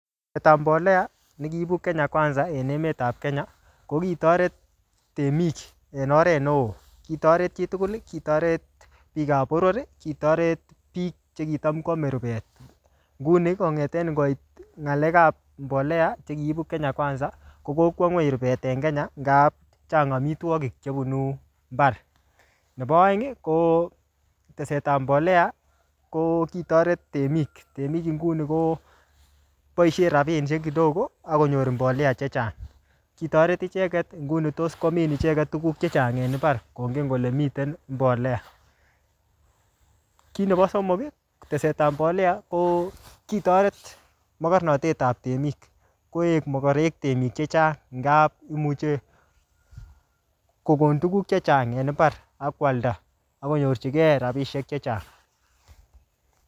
Walet ap mbolea, ne kiibu Kenya Kwanza en emet ap Kenya, ko kitoret temik en oret neoo. Kitoret chitugul, kitoret biik ap boror, kitoret biik che kitam kwame rubet. Nguni, kongete koit ng'alek ap mbolea, che kiibu Kenya Kwanza, ko kokwa ng'uny rubet en Kenya, ngap chang amitwogik chebunu mbar. Nebo aeng, ko tesetap mbole, ko kitoret temik. Temik inguni, koboisie rabinik che kidogo, akonyor mbolea che chechang. Kitoret icheket, nguni tos komin icheket tuguk chechnag en mbar, kongen kole miten mbolea. Kiy nebo somok, ko tesetap mbolea, ko kitoret mokornatetab temik. Koek mokorek temik chechang. Ngaa imuchi kobun tuguk chechang en mbar, akwalda, akonyorchikei rabisiek chechang